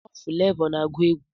Ọ Fulavọ na-agụ egwu